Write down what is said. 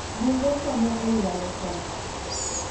Bunge konyo e yuayo koth.